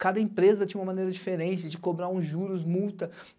Cada empresa tinha uma maneira diferente de cobrar uns juros, multa.